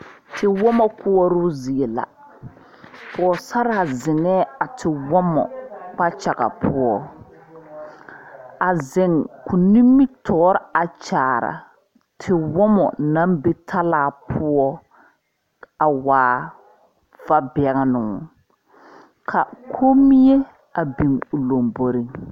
Tewoma koɔro zie la poɔsarre zengɛɛ a tewɔmɔ kpakyaga puo a zeng kuo nimitoɔre a gyaaraa tewɔmɔ nang be talaa puo a waa vabengnuu ka konmie a bin ɔ lombori.